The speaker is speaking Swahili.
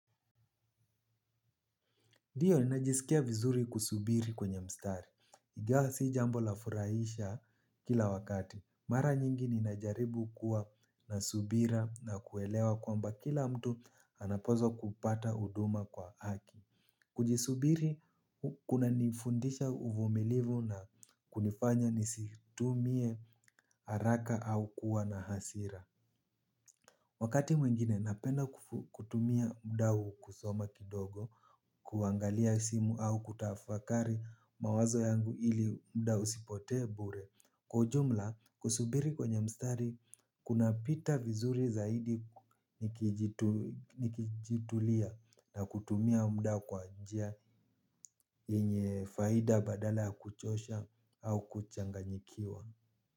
Ndiyo ninajisikia vizuri kusubiri kwenye mstari. Ingewa sii jambo lafurahisha kila wakati. Mara nyingi ninajaribu kuwa nasubira na kuelewa kwamba kila mtu anapozwa kupata huduma kwa haki. Kujisubiri kuna nifundisha uvumilivu na kunifanya nisitumie haraka au kuwa na hasira. Wakati mwengine napenda kutumia muda huu kusoma kidogo, kuangalia simu au kutafakari mawazo yangu ili muda usipotee bure. Kwa ujumla, kusubiri kwenye mstari, kuna pita vizuri zaidi nikijitulia na kutumia muda kwa njia yenye faida badala kuchosha au kuchanganyikiwa.